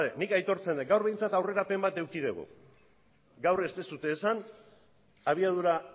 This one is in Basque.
nik aitortzen dut gaur behintzat aurrerapen bat eduki dugu gaur ez duzue esan abiadura